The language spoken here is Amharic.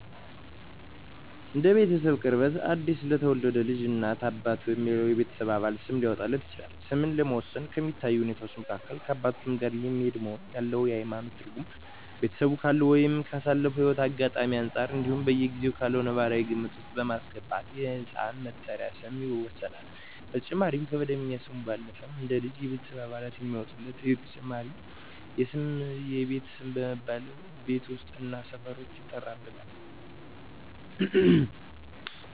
እንደ ቤተሰቡ ቅርበት አዲስ ለተወለደ ልጅ እናት፣ አባት ወይም ሌላው የቤተሰብ አባል ስም ሊያወጣለት ይችላል። ስምን ለመወሰን ከሚታዩ ሁኔታወች መካከል ከአባቱ ስም ጋር የሚሄድ መሆኑን፣ ያለው የሀይማኖት ትርጉም፣ ቤተሰቡ ካለው ወይም ካሳለፈው ህይወት አጋጣሚወች አንፃር እንዲሁም በጊዜው ካለው ነባራዊ ግምት ውስጥ በማስገባት የህፃን መጠሪያ ስም ይወሰናል። በተጨማሪም ከመደበኛ ስሙ ባለፈም አንድ ልጅ የቤተሰብ አባላት የሚያወጡለት ተጨማሪ ስም የቤት ስም በመባል ቤት ውስጥ እና ሰፈር ውስጥ ይጠራበታል።